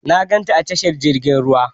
Na gan ta a tashar jirgin ruwa.